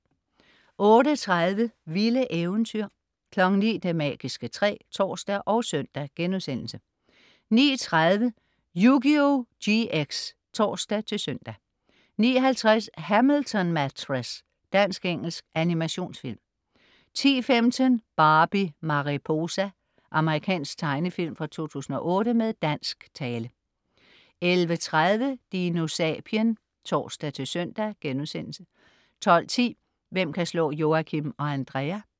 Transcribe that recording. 08.30 Vilde eventyr 09.00 Det magiske træ (tors og søn)* 09.30 Yugioh GX (tors-søn) 09.50 Hamilton Mattress. Dansk-engelsk animationsfilm 10.15 Barbie Mariposa. Amerikansk tegnefilm fra 2008 med dansk tale 11.30 DinoSapien (tors-søn)* 12.10 Hvem kan slå Joachim og Andrea?